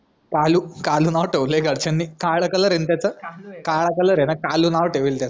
काळू काळू नाव ठेवलाय घरचानी काळ कलर ए ना त्याच काळा कलर ए ना काळू नाव ठेवलेलं